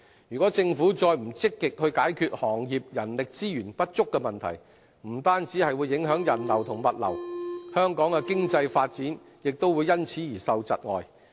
如果政府不積極解決行業人力資源不足的問題，不單會影響人流和物流，香港的經濟發展也會因此而窒礙。